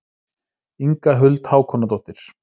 Inga Huld Hákonardóttir.